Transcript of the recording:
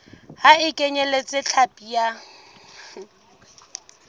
ha e kenyeletse hlapi ya